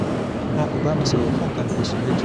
wọn kò bá mi sọ̀rọ̀ fún nǹkan bí oṣù mẹ́jọ